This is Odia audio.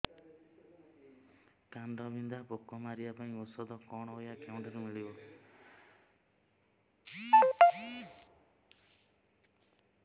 କାଣ୍ଡବିନ୍ଧା ପୋକ ମାରିବା ପାଇଁ ଔଷଧ କଣ ଓ ଏହା କେଉଁଠାରୁ ମିଳିବ